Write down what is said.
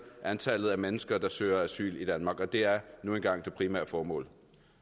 antallet af mennesker der søger asyl i danmark og det er nu engang det primære formål